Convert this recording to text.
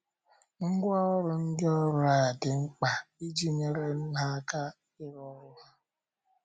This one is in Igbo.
Ngwá ọrụ ndị ọrụ a, dị mkpa iji nyere ha aka ịrụ ọrụ ha.